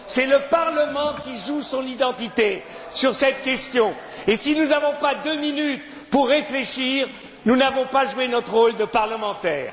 C'est le Parlement qui joue son identité sur cette question, et si nous n'avons pas deux minutes pour réfléchir, nous n'avons pas joué notre rôle de parlementaires.